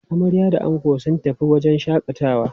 Amarya da ango sun tafi wajen shaƙatawa.